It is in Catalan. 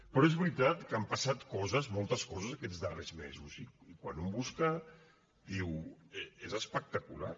però és veritat que han passat coses moltes coses aquests darrers mesos i quan un busca diu és espectacular